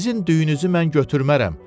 sizin düyünüzü mən götürmərəm.